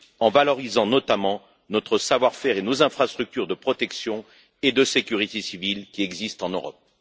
en valorisant notamment notre savoir faire et nos infrastructures de protection et de sécurité civiles qui existent en Europe.